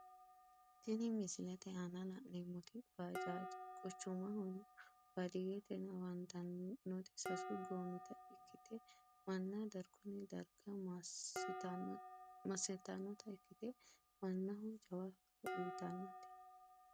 Tini misilete aana la`neemoti bajaji quchumahona baadiyete afantanoti sasu goomita ikite manna darguni garga masitanota ikite manaho jawa horo uyitanote.